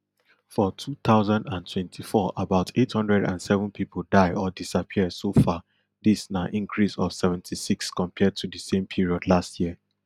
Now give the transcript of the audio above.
for two thousand and twenty-four about eight hundred and seven pipo die or disappear so far dis na increase of seventy-six compared to di same period last year